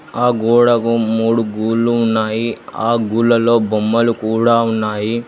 ఆ గోడకు మూడు గూడ్లు ఉన్నాయి ఆ గుడ్లలో బొమ్మలు కూడ ఉన్నాయి.